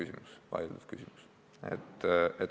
See on vaieldav küsimus.